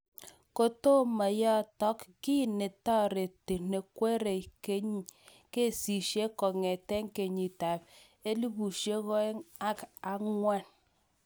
Kotomo yatook, kii netaareti nekweriei kesiisiek kong'eete kenyiit ap 2004